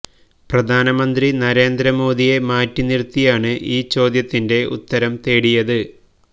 പ്രധാനമന്ത്രി നരേന്ദ്രമോദിയെ മാറ്റി നിര്ത്തിയാണ് ഈ ചോദ്യത്തിന്റെ ഉത്തരം തേടിയത്